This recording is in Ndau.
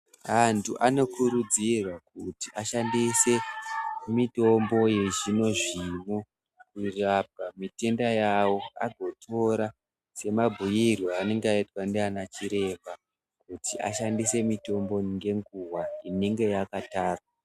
Antu anokurudzirwa kuti ashandise mitombo yezvimwe zvinhu kurapa mitenda yawo agotora semabhuyirwe aanolenga aitwa ndiana chiremba kuti ashandise mitombi ngenguva inenge yakatarwa.